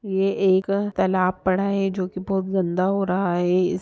ये एक तालाब पड़ा है जो बोहोत गंदा हो रहा है इस